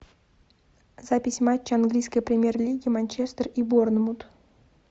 запись матча английской премьер лиги манчестер и борнмут